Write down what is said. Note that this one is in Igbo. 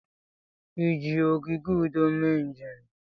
Ị ji ogige udo mee njem?